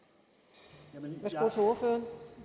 de tal